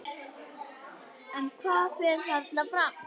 En hvað fer þarna fram?